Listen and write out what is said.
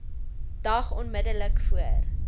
dag onmiddellik voor